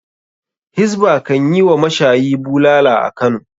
Hizba kan yi wa mashayi bulala a Kano.